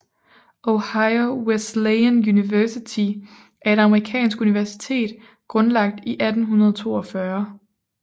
Ohio Wesleyan University er et amerikansk universitet grundlagt i 1842